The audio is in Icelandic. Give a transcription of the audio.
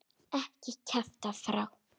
Ekki kjafta frá.